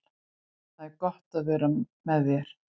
Það er gott að vera með þér.